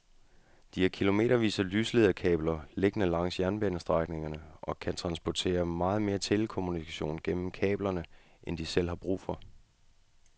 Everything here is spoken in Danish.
De har kilometervis af lyslederkabler liggende langs jernbanestrækningerne og kan transportere meget mere telekommunikation gennem kablerne end de selv har brug for.